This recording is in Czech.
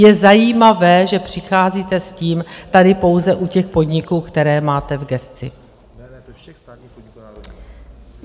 Je zajímavé, že přicházíte s tím tady pouze u těch podniků, které máte v gesci.